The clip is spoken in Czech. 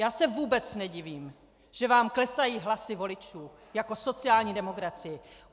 Já se vůbec nedivím, že vám klesají hlasy voličů jako sociální demokracii.